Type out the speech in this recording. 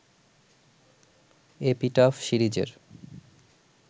‘epitaph’ সিরিজের